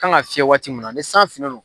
kan ka fiyɛ waati min na ni san finnen no.